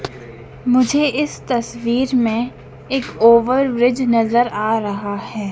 मुझे इस तस्वीर में एक ओवर ब्रिज नजर आ रहा है।